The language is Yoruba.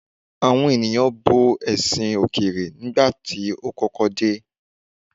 Àwọn ènìyàn bo ẹ̀sìn òkèèrè nígbà tó kọ́kọ́ dé.